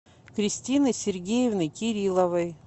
кристины сергеевны кирилловой